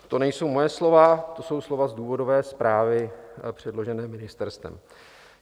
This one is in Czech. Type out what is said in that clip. To nejsou moje slova, to jsou slova z důvodové zprávy předložené ministerstvem.